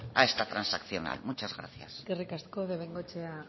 a esta transaccional muchas gracias eskerrik asko bengoechea